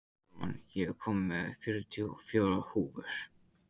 Róman, ég kom með fjörutíu og fjórar húfur!